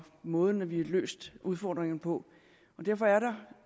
måden vi har løst udfordringerne på derfor er der